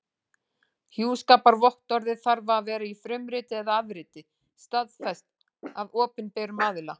Hjúskaparvottorðið þarf að vera í frumriti eða afrit staðfest af opinberum aðila.